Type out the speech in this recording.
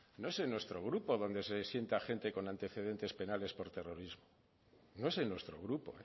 no es en nuestro grupo donde se sienta gente con antecedentes penales por terrorismo no es en nuestro grupo